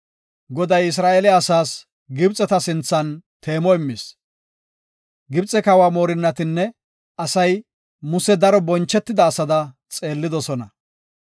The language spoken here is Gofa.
Goday Isra7eele asaas Gibxeta sinthan teemo immis. Gibxe kawa moorinnatinne asay Muse daro bonchetida asada xeellidosona.